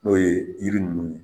N'o ye yiri nunnu ye